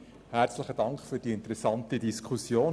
Herzlichen Dank für diese interessante Diskussion.